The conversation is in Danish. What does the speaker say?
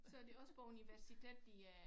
Så det også på universitet de er